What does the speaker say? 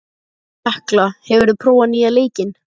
Tekla, hefur þú prófað nýja leikinn?